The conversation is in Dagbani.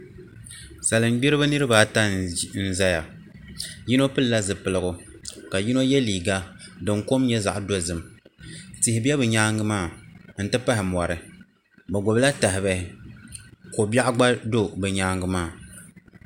Salin gbiribi niraba ata n ʒɛya yino pilila zipiligu ka yino yɛ liiga din kom nyɛ zaɣ dozim tihi bɛ bi nyaangi maa n ti pahi mori bi gbubila tahabihi ko biɛɣu gba do bi nyaangi maa